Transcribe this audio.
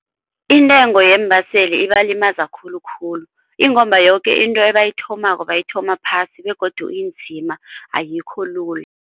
Intengo yeembaseli ibalimaza khulukhulu ingomba yoke into ebayithomako bayithoma phasi begodu inzima ayikho lula.